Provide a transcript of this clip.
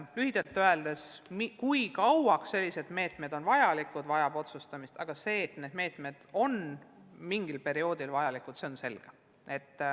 Lühidalt öeldes tuleb otsustada, kui kauaks sellised meetmed on vajalikud, aga see, et need meetmed on mingil perioodil vajalikud, on selge.